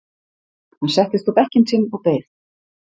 Hann settist á bekkinn sinn og beið.